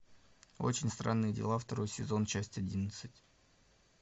очень странные дела второй сезон часть одиннадцать